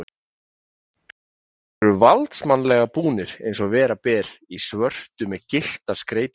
Þeir eru valdsmannslega búnir, eins og vera ber, í svörtu með gylltar skreytingar.